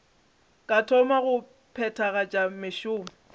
ka thoma go phethagatša mešomo